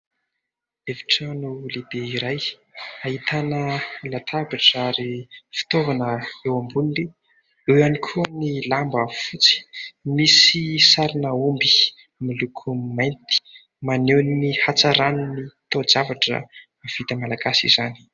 Efitrano lehibe iray ahitana latabatra ary fitaovana eo amboniny, eo ihany koa ny lamba fotsy misy sarina omby miloko mainty ; maneho ny hatsaran'ny taozavatra vita malagasy izany.